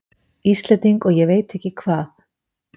Íslending og ég veit ekki hvað!